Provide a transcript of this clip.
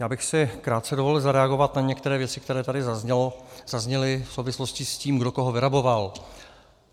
Já bych si krátce dovolil zareagovat na některé věci, které tady zazněly v souvislosti s tím, kdo koho vyraboval.